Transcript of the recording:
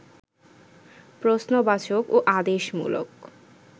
প্রশ্নবাচক ও আদেশমূলক